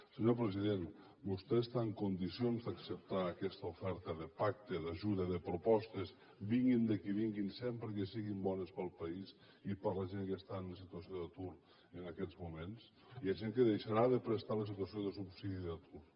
senyor president vostè està en condicions d’acceptar aquesta oferta de pacte d’ajuda de propostes vinguin de qui vinguin sempre que siguin bones per al país i per a la gent que està en situació d’atur en aquests moments hi ha gent que deixarà de prestar el subsidi d’atur